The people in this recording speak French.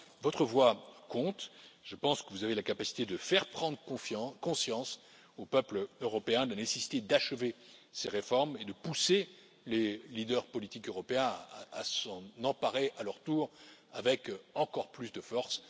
Votre voix compte, je pense que vous avez la capacité de faire prendre conscience aux peuples européens de la nécessité d'achever ces réformes et de pousser les leaders politiques européens à s'en emparer à leur tour avec encore plus de force.